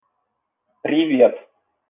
привет